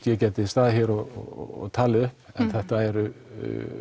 ég gæti staðið hér og talið upp en þetta eru